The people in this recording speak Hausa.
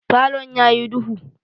Falon yayi duhu.